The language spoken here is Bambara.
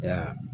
Ya